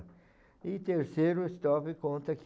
E terceiro estrofe conta que